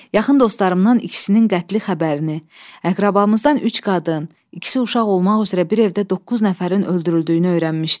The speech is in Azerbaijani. Yaxın dostlarımdan ikisinin qətli xəbərini, əqrəbamızdan üç qadın, ikisi uşaq olmaq üzrə bir evdə doqquz nəfərin öldürüldüyünü öyrənmişdim.